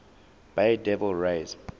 bay devil rays